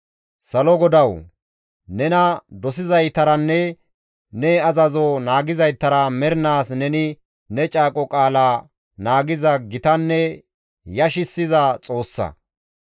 «Salo GODAWU! Nena dosizaytaranne ne azazo naagizaytara mernaas neni ne caaqo qaala naagiza gitanne yashissiza Xoossa.